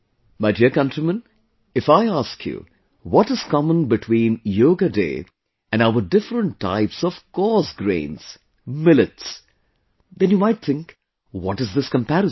My dear countrymen, if I ask you, what is common between Yoga Day and our different types of coarse grains Millets, then you might think...what is this comparison